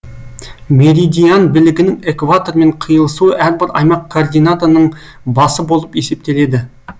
меридиан білігінің экватормен киылысуы әрбір аймақ координатының басы болып есептеледі